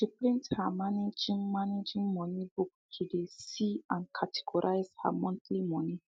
she print her managing managing money book to de see and categorize her monthly moni